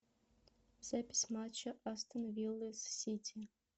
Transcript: запись матча астон виллы с сити